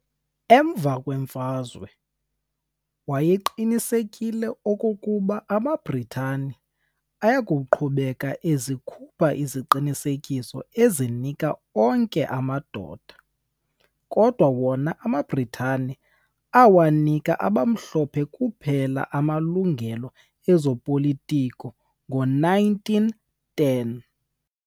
Emva kwemfazwe, wayeqinisekile okokuba amaBritane ayakuqhubeka ezikhupha iziqinisekiso ezinika onke amadoda, kodwa wona amaBritatane awanika abamhlophe kuphela amalungelo ezopolitiko ngo-1910